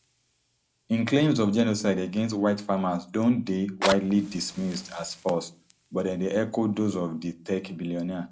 im claims of genocide against white farmers don deywidely dismissed as false but dem dey echo those of di tech billionaire